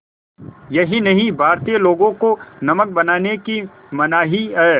यही नहीं भारतीय लोगों को नमक बनाने की मनाही है